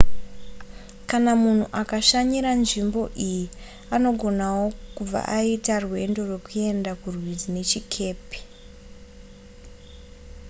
kana munhu akashanyira nzvimbo iyi anogonawo kubva aita rwendo rwekuenda kurwizi nechikepe